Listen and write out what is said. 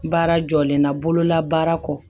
Baara jɔlen na bololabaara kɔ